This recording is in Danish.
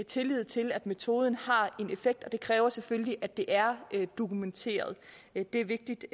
tillid til at metoden har en effekt og det kræver selvfølgelig at det er dokumenteret det er vigtigt